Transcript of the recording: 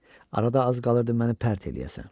Arada az qalırdı məni pərt eləyəsən.